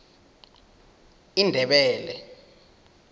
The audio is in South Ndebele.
indebele